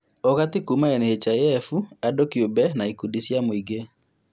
ũgati kuuma NHIF, andũ kĩũmbe na ikundi cia mũingĩ